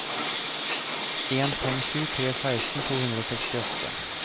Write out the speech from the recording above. en fem sju tre seksten to hundre og sekstiåtte